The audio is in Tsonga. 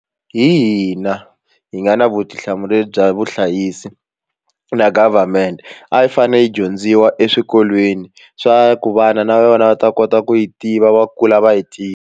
Hi hina hi nga na vutihlamuleri bya vuhlayisi na government a yi fanele hi dyondziwa eswikolweni swa ku vana na yona va ta kota ku yi tiva va kula va yi .